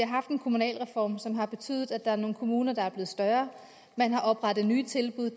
har haft en kommunalreform som har betydet at der er nogle kommuner der er blevet større man har oprettet nye tilbud